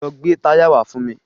Lọ gbè táyà wá fún mi.